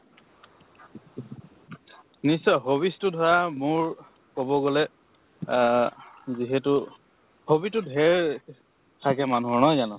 নিশ্চয়, hobbies তো ধৰা মোৰ কব গলে আহ যিহেতু hobby তো ঢেৰ থাকে মানুহৰ, নহয় জানো?